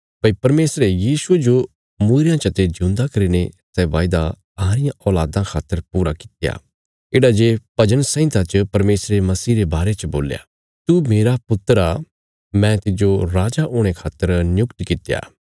भई परमेशरे यीशुये जो मूईरयां चते ज्यूंदा करीने सै वायदा अहां रियां औल़ादां खातर पूरा कित्या येढ़ा जे भजन संहिता च परमेशरे मसीह रे बारे च बोल्या तू मेरा पुत्र आ मैं तिज्जो राजा हुणे खातर नियुक्त कित्या